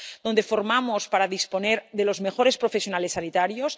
donde formamos para disponer de los mejores profesionales sanitarios